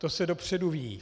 To se dopředu ví.